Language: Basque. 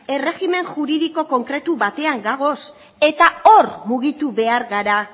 errejimen juridiko konkretu batean gaude eta hor mugitu behar gara